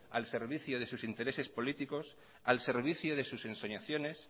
al servicio de sus intereses políticos al servicio de sus ensoñaciones